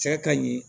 Cɛ ka ɲi